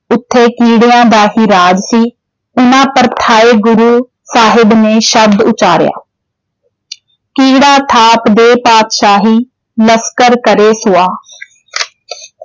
ਉਥੇ ਕੀੜਿਆਂ ਦਾ ਹੀ ਰਾਜ ਸੀ ਗੁਰੂ ਸਾਹਿਬ ਨੇ ਸ਼ਬਦ ਉਚਾਰਿਆ, ਕੀੜਾ ਥਾਪਿ ਦੇਇ ਪਾਤਿਸਾਹੀ ਲਸਕਰ ਕਰੇ ਸੁਆਹ॥